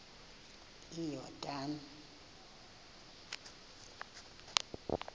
iyordane